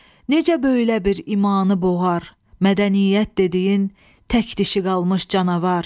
Necə böylə bir imanı boğar, Mədəniyyət dediyin tək dişi qalmış canavar.